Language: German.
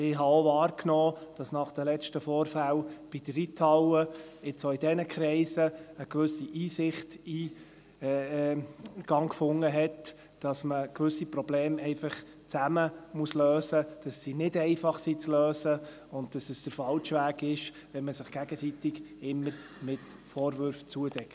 Ich habe auch wahrgenommen, dass nach den letzten Vorfällen bei der Reithalle jetzt auch bei diesen Kreisen eine gewisse Einsicht Eingang gefunden hat, wonach man gewisse Probleme einfach zusammen lösen muss, dass sie nicht einfach zu lösen sind und dass es der falsche Weg ist, wenn man sich gegenseitig immer mit Vorwürfen eindeckt.